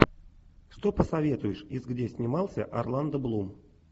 что посоветуешь из где снимался орландо блум